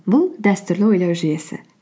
бұл дәстүрлі ойлау жүйесі